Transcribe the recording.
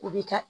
U bi kɛ